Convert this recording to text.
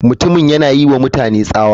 Mutumin yana yiwa mutane tsawa.